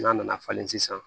N'a nana falen sisan